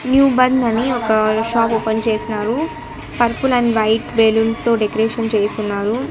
New Born అని ఒక shop open చేసినారు పర్పల్ అండ్ వైట్ బెలూన్ తో డెకరేషన్ చేసున్నారు.